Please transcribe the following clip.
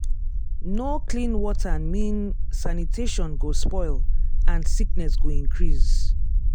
no clean water mean sanitation go spoil and sickness go increase.